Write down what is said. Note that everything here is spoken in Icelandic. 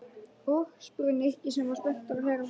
Og? spurði Nikki sem var spenntur að heyra framhaldið.